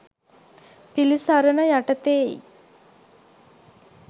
පිළිසරණ යටතේයි.